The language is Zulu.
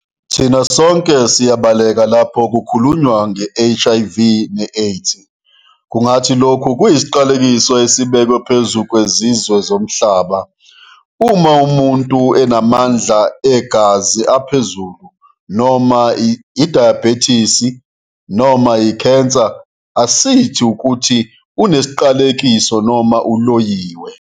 Thina sonke siyabaleka lapho kukhulunywa ngeHIV neAIDS - kungathi lokhu kuyisiqalekiso esibekwe phezu kwezizwe zomhlaba. Uma umuntu unamandla egazi aphezulu, noma idayibhethisi noma ikhensa, asithi ukuthi unesiqalekiso noma uloyiwe.